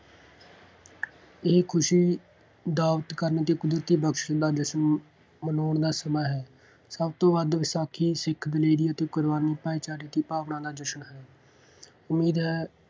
ਇਹ ਖੁਸ਼ੀ ਕਰਨ ਅਤੇ ਕੁਦਰਤੀ ਬਖਸ਼ਣ ਦਾ ਜਸ਼ਨ ਮਨਾਉਣ ਦਾ ਸਮਾਂ ਹੈ। ਸਭ ਤੋਂ ਵੱਧ ਵਿਸਾਖੀ ਸਿੱਖ ਦਲੇਰੀ ਅਤੇ ਕੁਰਬਾਨੀ ਭਾਈਚਾਰੇ ਦੀ ਭਾਵਨਾ ਨਾਲ ਜਸ਼ਨ ਹੈ। ਉਮੀਦ ਹੈ